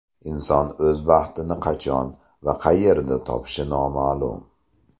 Inson o‘z baxtini qachon va qayerda topishi noma’lum.